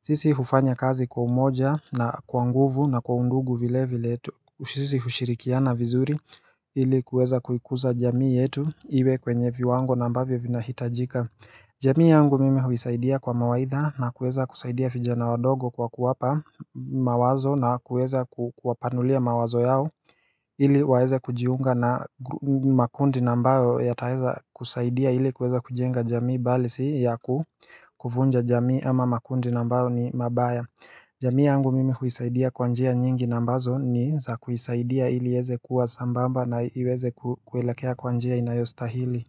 sisi hufanya kazi kwa umoja na kwa nguvu na kwa undugu vile vile sisi hushirikiana vizuri ili kuweza kuikuza jamii yetu iwe kwenye viwango na ambavyo vina hitajika jamii yangu mimi huisaidia kwa mawaidha na kuweza kusaidia vijana wadogo kwa kuwapa mawazo na kuweza kuwapanulia mawazo yao ili waeze kujiunga na makundi na ambayo yataweza kusaidia ili kuweza kujenga jamii bali si ya kuvunja jamii ama makundi na ambayo ni mabaya jamii yangu mimi huisaidia kwa njia nyingi na ambazo ni za kuisaidia ili iweze kuwa sambamba na iweze kuelekea kwa njia inayostahili.